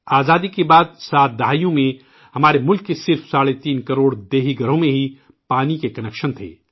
آزادی کے بعد 7 عشروں میں ہمارے ملک کے صرف ساڑھے تین کروڑ دیہی گھروں میں ہی پانی کے کنکشن تھے